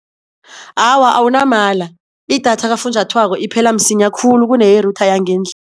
Awa awunamala i-data kafunjathwako iphela msinya khulu kuneye-router